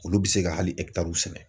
Olu bɛ se ka hali sɛnɛ.